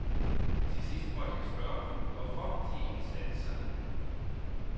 Til sidst måtte jeg spørge dem, hvorfor de ikke satte sig ned.